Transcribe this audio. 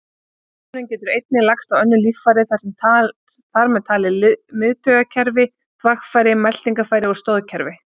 Sjúkdómurinn getur einnig lagst á önnur líffæri, þar með talið miðtaugakerfi, þvagfæri, meltingarfæri og stoðkerfi.